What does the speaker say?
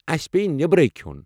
اسہِ پیہِ بٮ۪برٕیہ کھٮ۪وٚن۔